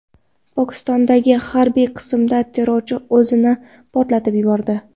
Pokistondagi harbiy qismda terrorchi o‘zini portlatib yubordi.